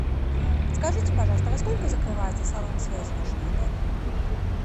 подскажите пожалуйста во сколько закрывается салон связи в вашем отеле